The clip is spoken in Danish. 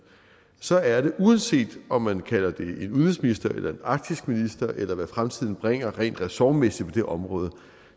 så er det uanset om man kalder det en udenrigsminister eller en arktisk minister eller hvad fremtiden bringer rent ressortmæssigt på det område